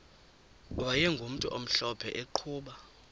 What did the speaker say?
wayegumntu omhlophe eqhuba